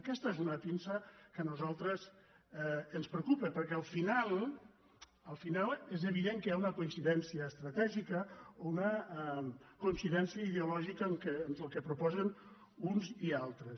aquesta és una pinça que a nosaltres ens preocupa perquè al final al final és evident que hi ha una coincidència estratègica una coincidència ideo lògica entre el que proposen uns i altres